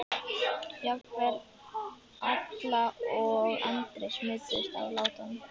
Jafnvel Alla og Andri smituðust af látunum.